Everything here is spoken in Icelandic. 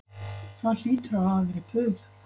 Það hlýtur að hafa verið puð